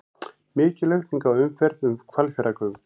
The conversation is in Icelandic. Mikil aukning á umferð um Hvalfjarðargöng